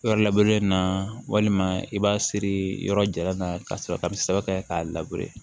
Yɔrɔ na walima i b'a siri yɔrɔ jara n'a ye ka sɔrɔ ka saba kɛ k'a